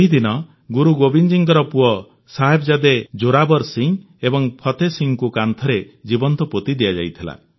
ଏହି ଦିନ ଗୁରୁ ଗୋବିନ୍ଦଜୀଙ୍କ ପୁଅ ସାହିବଜାଦେ ଜୋରାବର ସିଂ ଏବଂ ଫତେହ ସିଂଙ୍କୁ କାନ୍ଥରେ ଜୀବନ୍ତ ପୋତି ଦିଆଯାଇଥିଲା